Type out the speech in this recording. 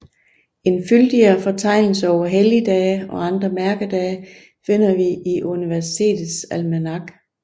En fyldigere fortegnelse over helligdage og andre mærkedage finder vi i Universitetets almanak